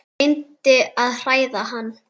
Reyndi að hræða hann.